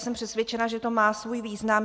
Jsem přesvědčená, že to má svůj význam.